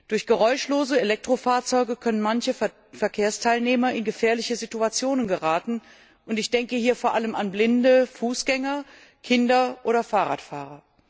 Durch geräuschlose Elektrofahrzeuge können manche Verkehrsteilnehmer in gefährliche Situationen geraten, und ich denke hier vor allem an Blinde, Fußgänger, Kinder oder Fahrradfahrer.